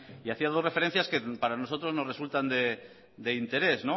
y hacía dos referencias que para nosotros nos resultan de interés